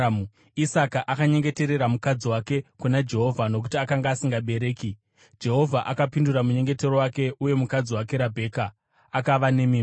Isaka akanyengeterera mukadzi wake kuna Jehovha, nokuti akanga asingabereki. Jehovha akapindura munyengetero wake, uye mukadzi wake Rabheka akava nemimba.